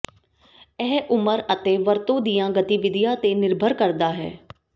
ਇਹ ਉਮਰ ਅਤੇ ਵਰਤੋਂ ਦੀਆਂ ਗਤੀਵਿਧੀਆਂ ਤੇ ਨਿਰਭਰ ਕਰਦਾ ਹੈ